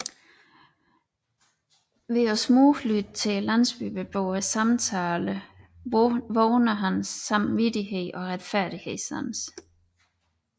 Ved at smuglytte til landsbyboernes samtaler vågner hans samvittighed og retfærdighedssans